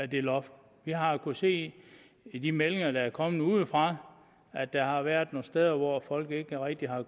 det loft vi har kunnet se i de meldinger der er kommet udefra at der har været nogle steder hvor folk ikke rigtig har